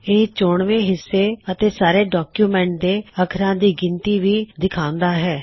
ਇਹ ਚੋਣਵੇ ਹਿੱਸੇ ਅਤੇ ਸਾਰੇ ਡੌਕਯੁਮੈੱਨਟ ਦੇ ਅਖਰਾਂ ਦੀ ਗਿਣਤੀ ਵੀ ਵਿਖਾਉਂਦਾ ਹੈ